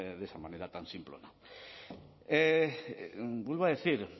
de esa manera tan simplona vuelvo a decir